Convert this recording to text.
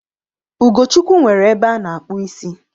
Ugochukwu nwere ebe ana-akpu isi